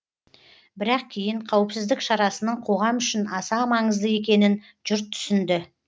бірақ кейін қауіпсіздік шарасының қоғам үшін аса маңызды екенін жұрт түсінді